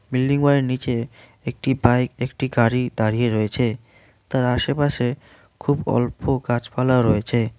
Building বাড়ির নিচে একটি বাইক একটি গাড়ি দাঁড়িয়ে রয়েছে তার আশেপাশে খুব অল্প গাছপালাও রয়েছে।